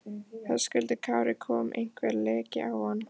Höskuldur Kári: Kom einhver leki á hann?